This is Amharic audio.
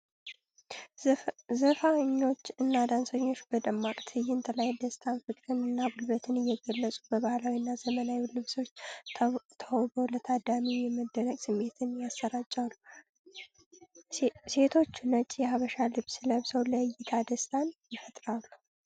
ዘፋኞች እና ዳንሰኞች በደማቅ ትዕይንት ላይ ደስታን፣ ፍቅርን እና ጉልበትን እየገለጹ፣ በባህላዊና ዘመናዊ ልብሶች ተውበው ለታዳሚው የመደነቅ ስሜትን ያሰራጫሉ። ሴቶቹ ነጭ የሃበሻ ልብስ ለብሰው ለእይታ ደስታን ይፈጥራሉ።